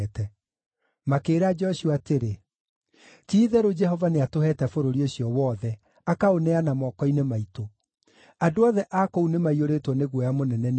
Makĩĩra Joshua atĩrĩ, “Ti-itherũ Jehova nĩatũheete bũrũri ũcio wothe, akaũneana moko-inĩ maitũ; andũ othe a kũu nĩmaiyũrĩtwo nĩ guoya mũnene nĩ ũndũ witũ.”